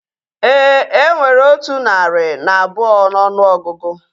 Éè, enwere otu narị na abụọ n'ọnụ ọgụgụ